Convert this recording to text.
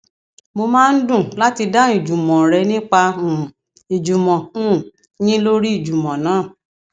mo máa ń dùn láti dáhùn ìjùmọn rẹ nípa um ìjùmọ um yín lórí ìjùmọ náà